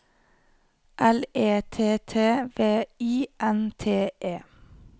L E T T V I N T E